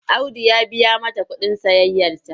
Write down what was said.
Audu ya biya mata kuɗin sayayyarta.